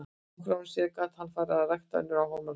Nokkrum árum síðar gat hann farið að rækta önnur áhugamál sín.